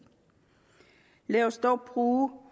lad os dog bruge